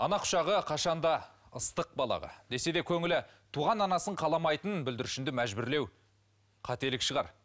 ана құшағы қашан да ыстық балаға десе де көңілі туған анасын қаламайтын бүлдіршүнді мәжбүрлеу қателік шығар